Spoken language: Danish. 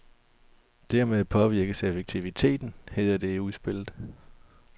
Dermed påvirkes effektiviteten, hedder det i udspillet.